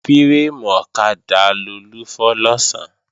Fírémù ọ̀kadà Lolú fọ́ lọ̀sán